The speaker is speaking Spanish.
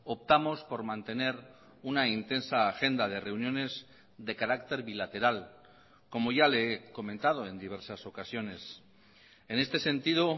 optamos por mantener una intensa agenda de reuniones de carácter bilateral como ya le he comentado en diversas ocasiones en este sentido